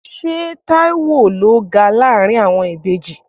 Ṣé Taiwo ló ga láàárín àwọn ìbejì?